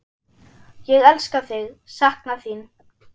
Ég elska þig, sakna þín.